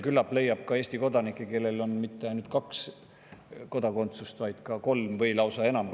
Küllap leiab ka Eesti kodanikke, kellel pole kodakondsusi mitte ainult kaks, vaid kolm või lausa enam.